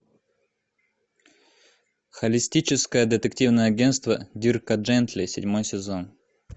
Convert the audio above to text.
холистическое детективное агентство дирка джентли седьмой сезон